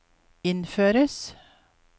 innføres